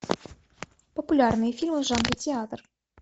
популярные фильмы в жанре театр